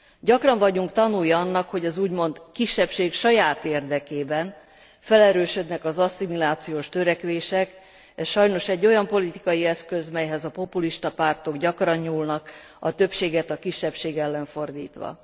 Gyakran vagyunk tanúi annak, hogy az úgymond kisebbség saját érdekében felerősödnek az asszimilációs törekvések, ez sajnos egy olyan politikai eszköz, melyhez a populista pártok gyakran nyúlnak, a többséget a kisebbség ellen fordítva.